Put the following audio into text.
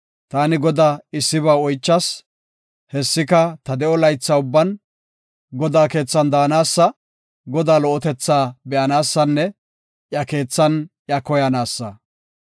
Ta Godaa issiba oychas; hessika, ta de7o laytha ubban Godaa keethan de7anaasa; Godaa lo77otetha be7anaasanne iya keethan iya koyanaasa.